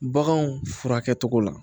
Baganw furakɛcogo la